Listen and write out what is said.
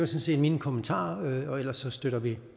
set mine kommentarer og ellers støtter vi